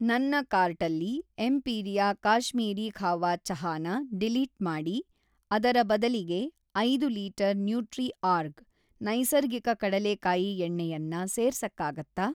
ನನ್ನ ಕಾರ್ಟಲ್ಲಿ ಎಂಪೀರಿಯಾ ಕಾಶ್ಮೀರೀ ಕಹ್ವಾ ಚಹಾನ ಡಿಲೀಟ್‌ ಮಾಡಿ ಅದರ ಬದಲಿಗೆ ಐದು ಲೀಟರ್ ನ್ಯೂಟ್ರಿಆರ್ಗ್ ನೈಸರ್ಗಿಕ ಕಡಲೆಕಾಯಿ ಎಣ್ಣೆಯನ್ನ ಸೇರ್ಸಕ್ಕಾಗತ್ತಾ